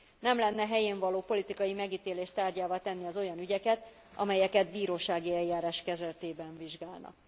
Nem lenne helyénvaló politikai megítélés tárgyává tenni az olyan ügyeket, amelyeket bírósági eljárás keretében vizsgálnak.